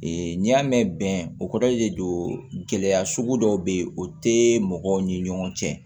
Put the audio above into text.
Ee n'i y'a mɛn bɛn o kɔrɔ de don gɛlɛya sugu dɔw be ye o te mɔgɔw ni ɲɔgɔn cɛ